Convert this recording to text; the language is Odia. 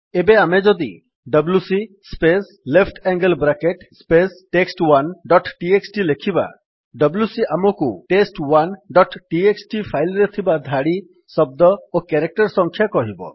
ଏବେ ଆମେ ଯଦି W C space left angle bracket space test one dot T X T ଲେଖିବା ଡବ୍ଲ୍ୟୁସି ଆମକୁ ଟେଷ୍ଟ1 ଡଟ୍ ଟିଏକ୍ସଟି ଫାଇଲ୍ ରେ ଥିବା ଧାଡି ଶବ୍ଦ ଓ କ୍ୟାରେକ୍ଟର୍ ସଂଖ୍ୟା କହିବ